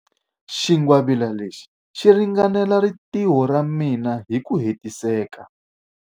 Xingwavila lexi xi ringanela rintiho ra mina hi ku hetiseka.